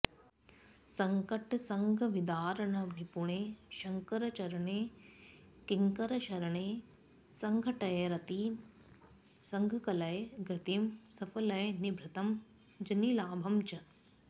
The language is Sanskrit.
सङ्कटसङ्घविदारणनिपुणे शङ्करचरणे किङ्करशरणे सङ्घटय रतिं सङ्कलय धृतिं सफलय निभृतं जनिलाभं च